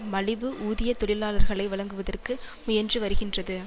மலிவு ஊதிய தொழிலாளர்களை வழங்குவதற்கு முயன்று வருகின்றது